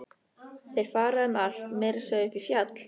Þeir fara um allt, meira að segja upp í fjall.